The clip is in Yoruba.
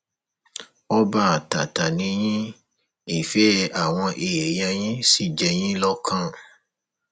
ọba àtàtà ni yín ìfẹ àwọn èèyàn yín sì jẹ yín lọkàn